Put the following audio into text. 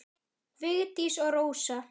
Vigdís og Rósa.